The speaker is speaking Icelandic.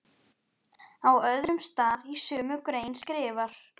Á öðrum stað í sömu grein skrifar